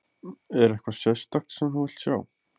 Er eitthvað sérstakt sem þú vilt sjá?